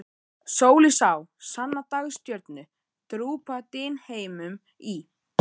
Sól ég sá, sanna dagstjörnu, drúpa dynheimum í.